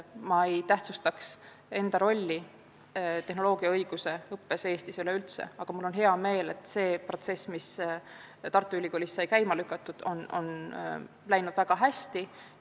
Ma ei tähtsustaks enda rolli Eestis juurutatud tehnoloogiaõiguse õppe arengus, aga mul on hea meel, et protsess, mis Tartu Ülikoolis sai käima lükatud, on läinud väga hästi.